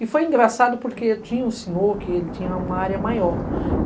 E foi engraçado porque tinha um senhor que ele tinha uma área maior.